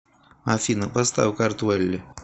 афина поставь картвелли